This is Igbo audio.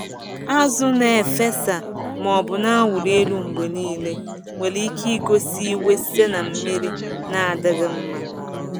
Azụ na-efesa maọbụ na-awụli elu mgbe niile nwere ike igosi iwe site na mmiri na-adịghị mma.